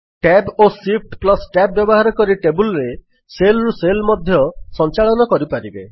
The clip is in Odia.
Tab ଓ ShiftTab ବ୍ୟବହାର କରି ଟେବଲ୍ ରେ ସେଲ୍ ରୁ ସେଲ୍ ମଧ୍ୟ ସଂଚାଳନ କରିପାରିବେ